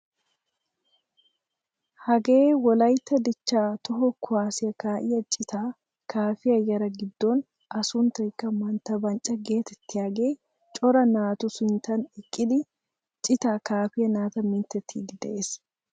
Hagee wollaytta dichchaa toho kuwaasiyaa ka'iyaa ciitaa kaafiyaa yaaraa giddon a sunttaykka mantta bancca getettiyaagee cora naatu sinttan eqqidi ciitaa kaafiyaa naata mintettiidi de'ees.